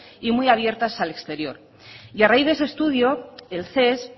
y muy abiertas al exterior y a raíz de ese estudio el ces